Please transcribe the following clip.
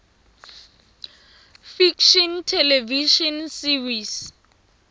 fiction television series